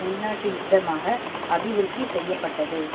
உள்நாட்டு யுத்தமாக அபிவிருத்தி செய்ய பட்டது